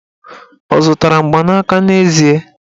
Ọ zụtara mgbanaka n'ezie?